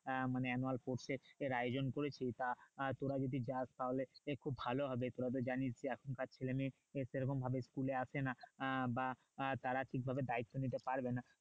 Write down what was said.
আহ মানে annual sport এর আয়োজন করেছি তা তোরা যদি যাস তাহলে একটু ভালো হবে তোরা তো জিনিস এখনকার ছেলে মেয়ে আহ সে রকম ভাবে school আসে না আহ বা আহ তারা ঠিকভাবে দায়িত্ব নিতে পারবে না।